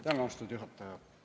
Tänan, austatud juhataja!